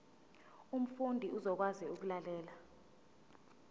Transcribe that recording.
umfundi uzokwazi ukulalela